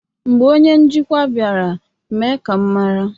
Mgbe onye njikwa bịara, mee ka m mara.